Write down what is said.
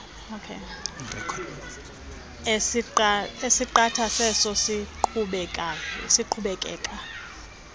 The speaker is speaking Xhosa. esiqatha seso siqhubekeka